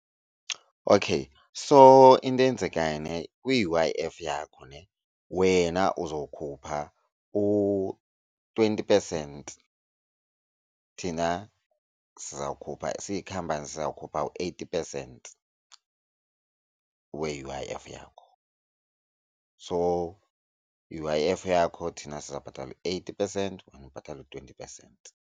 Okay so into eyenzekayo ne kwi-U_I_F yakho ne wena uzokhupha u-twenty percent. Thina sizawukhupha siyikhampanti siza kukhupha u-eighty percent we-U_I_F yakho. So, i-U_I_F yakho thina siza kubhatala eighty percent wena ubhatala u-twenty percent.